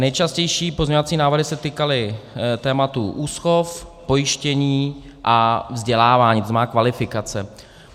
Nejčastější pozměňovací návrhy se týkaly tématu úschov, pojištění a vzdělávání, to znamená kvalifikace.